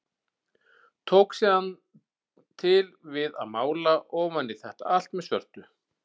Tók síðan til við að mála ofan í þetta allt með svörtu.